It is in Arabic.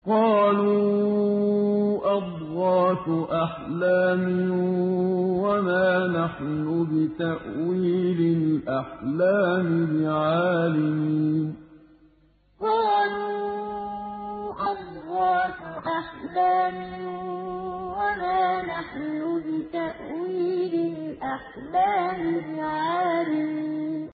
قَالُوا أَضْغَاثُ أَحْلَامٍ ۖ وَمَا نَحْنُ بِتَأْوِيلِ الْأَحْلَامِ بِعَالِمِينَ قَالُوا أَضْغَاثُ أَحْلَامٍ ۖ وَمَا نَحْنُ بِتَأْوِيلِ الْأَحْلَامِ بِعَالِمِينَ